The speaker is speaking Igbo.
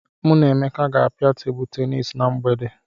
Mụ na Emeka ga-apịa Tebụl tenis na mgbede.